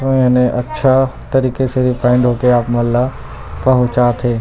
अऊ इन्हे अच्छा तरीके से रेफआइन होके आपमन ल पहुचाथे।